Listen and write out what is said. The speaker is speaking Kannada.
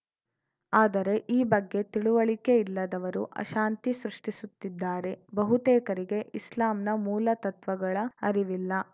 ಆದರೆ ಈ ಬಗ್ಗೆ ತಿಳುವಳಿಕೆ ಇಲ್ಲದವರು ಅಶಾಂತಿ ಸೃಷ್ಟಿಸುತ್ತಿದ್ದಾರೆ ಬಹುತೇಕರಿಗೆ ಇಸ್ಲಾಂನ ಮೂಲ ತತ್ವಗಳ ಅರಿವಿಲ್ಲ